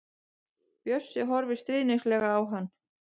Bjössi horfir stríðnislega á hann.